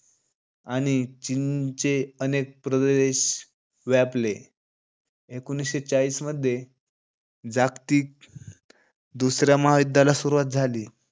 आणि चीनचे अनेक प्रदेश व्यापले. एकोणीशे चाळीस मध्ये. जागतिक दुसऱ्या महायुद्धाला सुरुवात झाली.